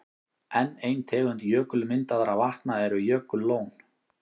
Enn ein tegund jökulmyndaðra vatna eru jökullón.